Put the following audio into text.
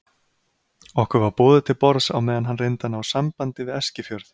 Okkur var boðið til borðs á meðan hann reyndi að ná sambandi við Eskifjörð.